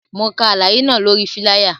Mo ka alaye náa lori filaya